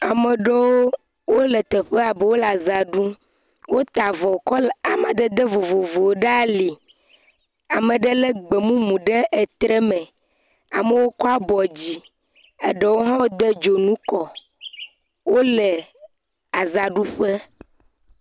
Ame aɖewo wole teƒe abe wole aza ɖum, wota avɔ kɔla amadede vovovowo ɖe ali, ame ɖe lé gbe mumu ɖe tre me, amewo kɔ abɔ dzi, eɖewo hã wode dzonu kɔ, wole azaɖuƒe.